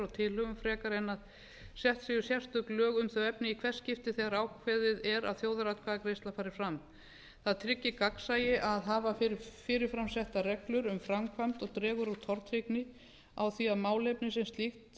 tilhögun frekar en að settséu sérstök lög um a efni í hvert skipti þegar ákveðið er að þjóðaratkvæðagreiðsla fari fram það tryggir gagnsæi að hafa fyrirframsettar reglur um framkvæmd og dregur úr tortryggni á því að málefnið sem slíkt